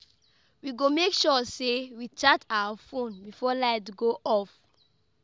We go make sure sey we charge our fone before light go off.